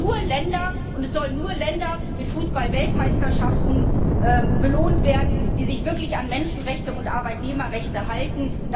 Es sollen nur Länder mit Fußballweltmeisterschaften belohnt werden, die sich wirklich an Menschenrechte und Arbeitnehmerrechte halten.